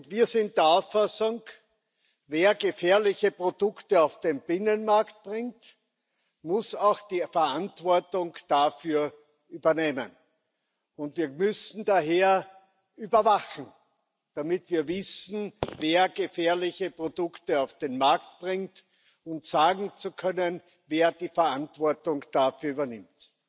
Wir sind der Auffassung, wer gefährliche Produkte auf den Binnenmarkt bringt, muss auch die Verantwortung dafür übernehmen. Und wir müssen daher überwachen, damit wir wissen, wer gefährliche Produkte auf den Markt bringt, und sagen können, wer die Verantwortung dafür übernimmt.